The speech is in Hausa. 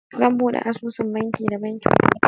Zan bude asusun banki da bankin farko.